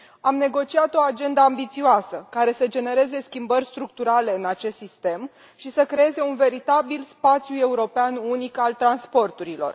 Am negociat o agendă ambițioasă, care să genereze schimbări structurale în acest sistem și să creeze un veritabil spațiu european unic al transporturilor.